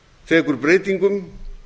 tekur breytingum